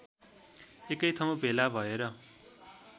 एकैठाउँ भेला भएर